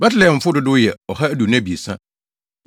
Betlehemfo dodow yɛ 2 123 1